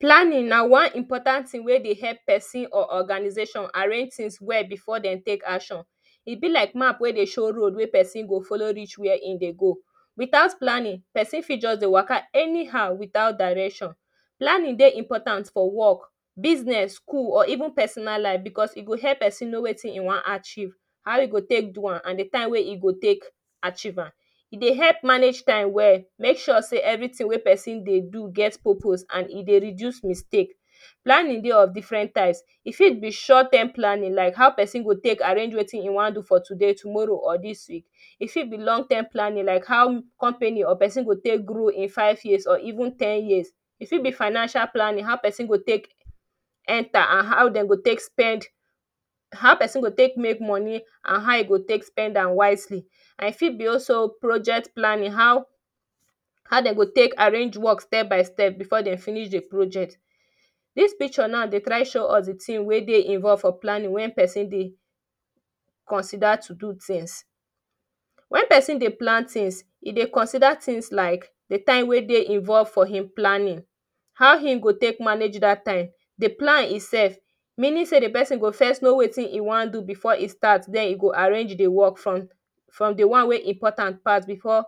Planning na one important thing wey dey help person or organization arrange things well before dem take action. E be like map wey dey show road wey person go follow reach wey him dey go. Without planning person fit just dey waka anyhow without direction. Planning dey important for work business, school or even personal life because e go help person know wetin e wan archive, how e go take do am and the time wey e go take archive am E dey help manage time well make sure sey everything wey person dey do get purpose and e dey reduce mistake Planning dey of different types; e fit be short term planning, like how person go take arrange wetin him wan do today, tomorrow or this week fit be long term planning like how company person go take grow in five (5) years or even ten years. E fit be financial planning; how person go take enter and how Dem go take spend- how person go take make money and how e go take spend am wisely. And e fit be also project planning: how dey go take arrange work step by step before then finish the project. This pictire now dey try show us the thing wey dey involved for planning when person dey consider to do thing. When person dey plan things, e dey consider things like the time wey dey involved for him planning how him go take manage that time, the plan itself. Meaning sey the person go first know wetin e wan do before e start then e go arrange dey work from the one wey dey important pass before